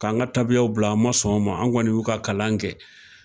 K'an ka tabiyaw bila an ma sɔn ma, an kɔni y'u ka kalan kɛ